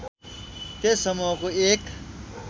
त्यस समूहको एक